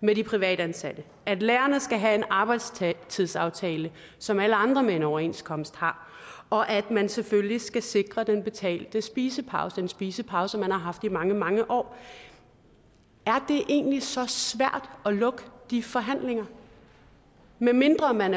med de privatansatte at lærerne skal have en arbejdstidsaftale som alle andre med en overenskomst har og at man selvfølgelig skal sikre den betalte spisepause en spisepause man har haft i mange mange år er det egentlig så svært at lukke de forhandlinger medmindre man